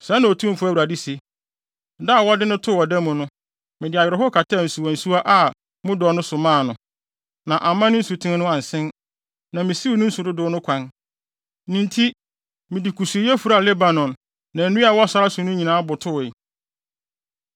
“ ‘Sɛɛ na Otumfo Awurade se: Da a wɔde no too ɔda mu no, mede awerɛhow kataa nsuwansuwa a mu dɔ no so maa no, na amma ne nsuten no ansen, na misiw ne nsu dodow no kwan. Ne nti mede kusuuyɛ furaa Lebanon, na nnua a ɛwɔ sare no so nyinaa botowee.